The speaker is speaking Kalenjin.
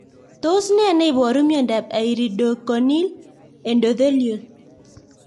Tos nee neiparu miondop iridocorneal endothelial